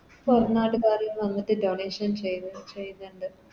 പൊറം നാട്ട് കാരും വന്നിട്ട് Donation ചെയ്ത ചെയ്ന്ന്ണ്ട്